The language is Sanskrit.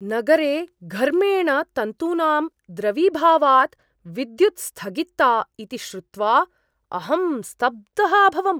नगरे घर्मेण तन्तूनां द्रवीभावात् विद्युद् स्थगिता इति श्रुत्वा अहं स्तब्धः अभवम्।